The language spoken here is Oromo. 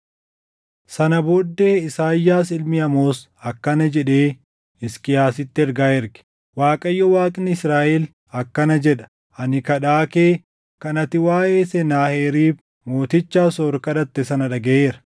Sana booddee Isaayyaas ilmi Amoos akkana jedhee Hisqiyaasitti ergaa erge: “ Waaqayyo Waaqni Israaʼel akkana jedha: Ani kadhaa kee kan ati waaʼee Senaaheriib mooticha Asoor kadhatte sana dhagaʼeera.